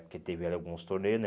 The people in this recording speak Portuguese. Porque tiveram alguns torneios, né?